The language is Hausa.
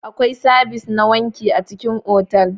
Akwai sabis na wanki a cikin otal.